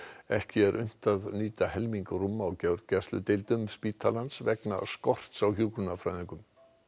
ekki er unnt að nýta helming rúma á gjörgæsludeildum spítalans vegna skorts á hjúkrunarfræðingum